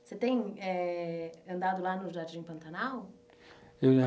Você tem eh andado lá no Jardim Pantanal?